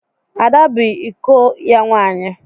Ada bụ iko ya nwaanyị.